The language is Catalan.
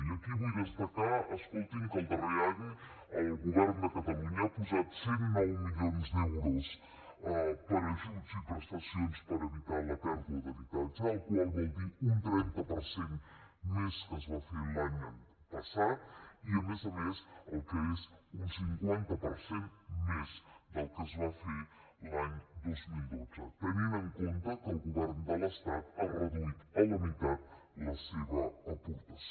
i aquí vull destacar escoltin que el darrer any el govern de catalunya ha posat cent i nou milions d’euros per a ajuts i prestacions per evitar la pèrdua d’habitatge cosa que vol dir un trenta per cent més del que es va fer l’any passat i a més a més el que és un cinquanta per cent més del que es va fer l’any dos mil dotze tenint en compte que el govern de l’estat ha reduït a la meitat la seva aportació